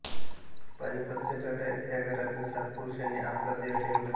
पानिपतच्या लढाईत ह्या घरातील सात पुरुषांनी आपला देह ठेवला